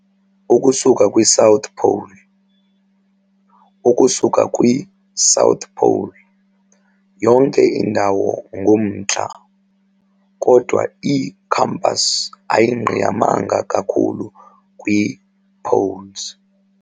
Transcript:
Ukusuka kwi-South Pole, "ukusuka kwi"South pole", yonke indawo ngumNtla, kodwa i-compass ayingqiyamanga kakhulu kwii"poles.